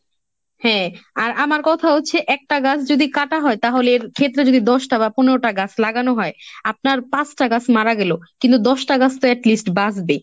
হ্যাঁ আর আমার কথা হচ্ছে একটা গাছ যদি কাটা হয় তাহলে এর ক্ষেত্রে যদি দশটা বা পনেরোটা গাছ লাগানো হয় আপনার পাঁচটা গাছ মারা গেলেও কিন্তু দশটা গাছ তো at least বাঁচবে।